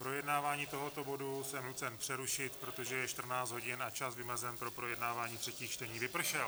Projednávání tohoto bodu jsem nucen přerušit, protože je 14 hodin a čas vymezen pro projednávání třetích čtení vypršel.